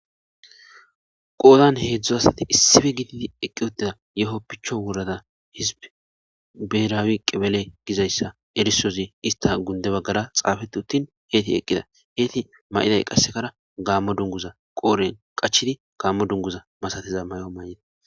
Qodanni hezdzdu asati issippe gididi eqqi uttida yehone picho worada berawu qebele Gizayissa erisozi isita gunide bagara xaafetti uttin etti eqida etti mayidayi qasekara Gamo duniguza qodhdhenni qachchidi Gamo duniguzza masatiza mayo mayida.